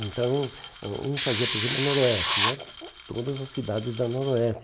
Então, hum um fazia, por exemplo, o noroeste, e era todas as cidades da noroeste.